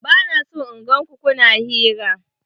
Bana son in gan ku kuna hira!